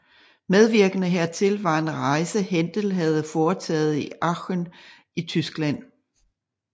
Medvirkende hertil var en rejse Händel havde foretaget til Aachen i Tyskland